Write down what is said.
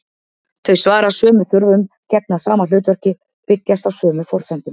Þau svara sömu þörfum, gegna sama hlutverki, byggjast á sömu forsendum.